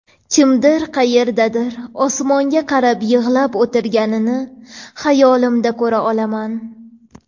kimdir qayerdadir osmonga qarab yig‘lab o‘tirganini hayolimda ko‘ra olaman.